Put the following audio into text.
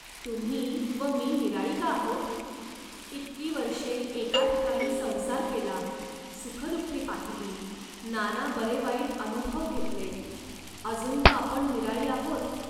तुम्ही व मी निराळी का आहोत. इतकी वर्षे एके ठिकाणी संसार केला, सुखदुःखे पाहिली, नाना बरेवाईट अनुभव घेतले, अजून का आपण निराळी आहोत